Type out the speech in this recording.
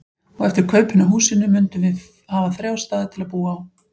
Og eftir kaupin á húsinu mundum við hafa þrjá staði til að búa á.